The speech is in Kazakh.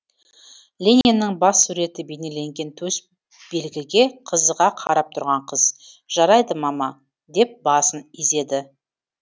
лениннің бас суреті бейнеленген төсбелгіге қызыға қарап тұрған қыз жарайды мама деп басын изеді